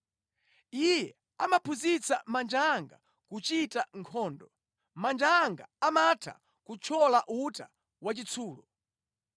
Iye amaphunzitsa manja anga kuchita nkhondo; manja anga amatha kuthyola uta wachitsulo.